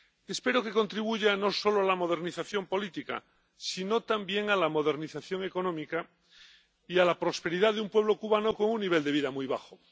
Espero que contribuya no solo a la modernización política, sino también a la modernización económica y a la prosperidad de un pueblo cubano con un nivel de vida muy bajo.